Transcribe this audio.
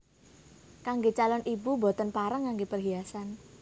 Kanggè calon ibu boten pareng nganggè perhiasan